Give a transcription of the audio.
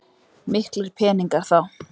Miklir peningar þá.